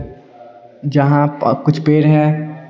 जहां प कुछ पेड़ है।